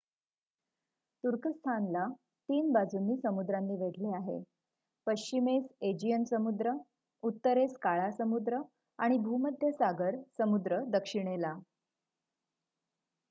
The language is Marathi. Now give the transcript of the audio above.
तुर्कस्थान ला 3 बाजूनी समुद्रांनी वेढले आहे पश्चिमेस एजियन समुद्र उत्तरेस काळा समुद्र आणि भूमध्य सागर समुद्र दक्षिणेला